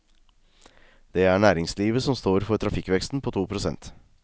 Det er næringslivet som står for trafikkveksten på to prosent.